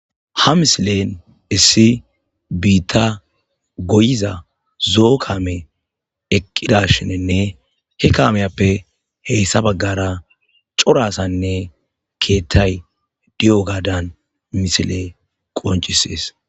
Ha misilen issi biitta goyiza zo'o kame eqqida shinenne he kameyappe heyssa baggara corasanne keethtay di'o gaadan misile qoncisees.